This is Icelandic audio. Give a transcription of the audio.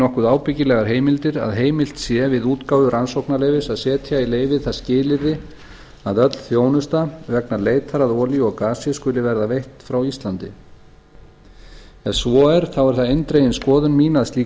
nokkuð ábyggilegar heimildir að heimilt sé við útgáfu rannsóknarleyfis að setja í leyfið það skilyrði að öll þjónusta vegna leitar að olíu og gasi skuli verða veitt frá íslandi ef svo er þá er það eindregin skoðun mín að slík